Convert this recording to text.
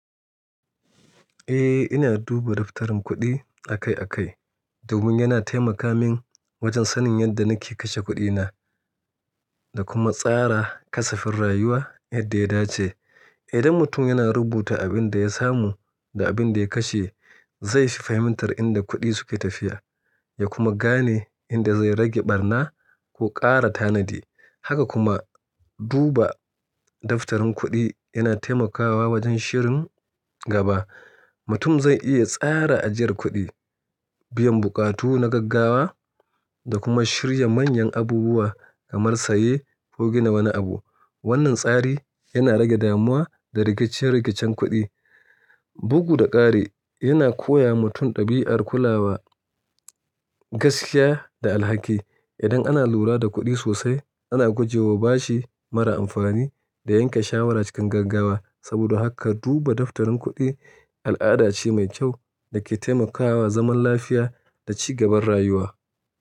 Eh, ina duba daftarin kuɗi akai-akai, domin yana taimaka min wajen sanin yanda nake kashe kuɗina, da kuma tsara kasafin rayuwa yadda ya dace idan mutum yana rubuta abin da ya samu, da abin da ya kashe, zai shi fahimtar inda kuɗi suke tafiya, ya kuma gane inda zai rage barna, ko ƙara tanadi. Haka kuma, duba daftarin kuɗi yana taimakawa wajen shirin gaba Mutum zai iya tsara ajiyar kuɗi, biyan buƙatu na gaggawa da kuma shirya manyan abubuwa kamar saye ko gina wani abu. Wannan tsari yana rage damuwa da rikice-rikicen kuɗi. Bugu da ƙari, yana koya wa mutum ɗabi'ar kulawa, gaskiya da alhaki idan ana lura da kuɗi sosai, ana guje wa bashi mara amfani, da yanke shawara cikin gaggawa. Saboda haka duba daftarin kuɗi al'ada ce mai kyau da ke taimakawa zaman lafiya da ci gaban rayuwa.